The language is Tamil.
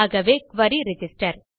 ஆகவே குரி ரிஜிஸ்டர்